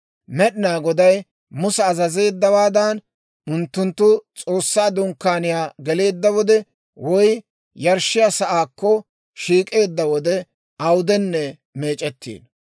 Med'inaa Goday Musa azazeeddawaadan, unttunttu S'oossaa Dunkkaaniyaa geleedda wode woy yarshshiyaa sa'aakko shiik'eedda wode awudenne meec'ettiino.